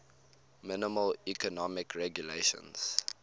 minimal economic regulations